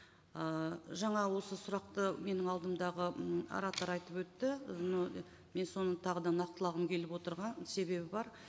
ы жаңа осы сұрақты менің алдымдағы м оратор айтып өтті но мен соны тағы да нақтылағым келіп отырған себебі бар